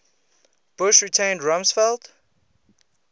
bush retained rumsfeld